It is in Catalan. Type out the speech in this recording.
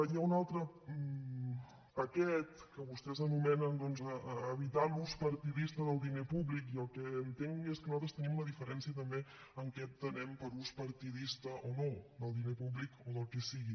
hi ha un altre paquet que vostès anomenen doncs evitar l’ús partidista del diner públic i el que entenc és que nosaltres tenim una diferència també en què entenem per ús partidista o no del diner públic o del que sigui